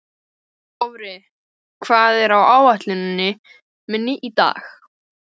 Dofri, hvað er á áætluninni minni í dag?